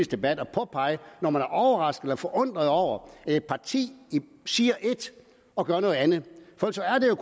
debat at påpege når man er overrasket eller forundret over at et parti siger et og gør noget andet ellers er det